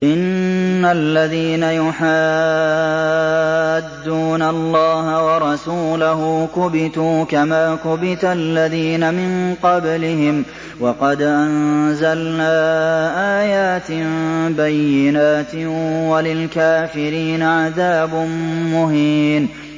إِنَّ الَّذِينَ يُحَادُّونَ اللَّهَ وَرَسُولَهُ كُبِتُوا كَمَا كُبِتَ الَّذِينَ مِن قَبْلِهِمْ ۚ وَقَدْ أَنزَلْنَا آيَاتٍ بَيِّنَاتٍ ۚ وَلِلْكَافِرِينَ عَذَابٌ مُّهِينٌ